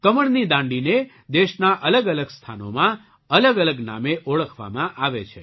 કમળની દાંડીને દેશના અલગઅલગ સ્થાનોમાં અલગઅલગ નામે ઓળખવામાં આવે છે